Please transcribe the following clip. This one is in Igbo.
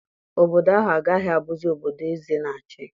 Obodo ahụ agaghị abụzi obodo eze na-achị.